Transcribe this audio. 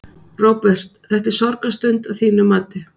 Róbert: Þetta er sorgarstund, að þínu mati?